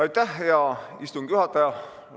Aitäh, hea istungi juhataja!